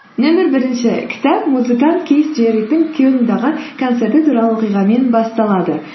нөмір бірінші кітап музыкант кейс джеральдтің кельндағы концерті туралы оқиғамен басталады